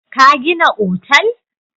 Ka gina otal!